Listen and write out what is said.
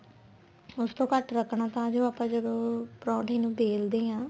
ਉਸ ਤੋਂ ਘੱਟ ਰੱਖਣਾ ਤਾਂ ਜੋ ਆਪਾਂ ਜਦੋਂ ਪਰੋਂਠੇ ਨੂੰ ਵੇਲਦੇ ਆ